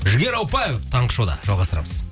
жігер ауыпбаев таңғы шоуда жалғастырамыз